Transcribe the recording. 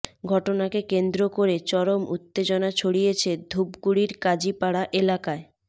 ঘটনাকে কেন্দ্র করে চরম উত্তেজনা ছড়িয়েছে ধূপগুড়ির কাজীপাড়া এলাকায়